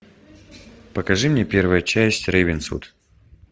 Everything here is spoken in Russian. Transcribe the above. покажи мне первая часть рейвенсвуд